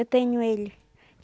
Eu tenho ele.